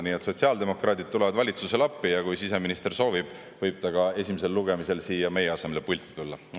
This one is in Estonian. Nii et sotsiaaldemokraadid tulevad valitsusele appi ja kui siseminister soovib, võib ta esimesel lugemisel meie asemel siia pulti tulla.